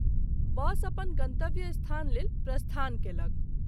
बस अपन गंतव्य स्थान लेल प्रस्थान कयलक।